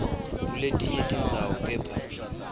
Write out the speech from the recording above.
kuletinye tindzawo kepha